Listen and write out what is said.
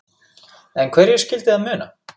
En hverju skyldi það muna?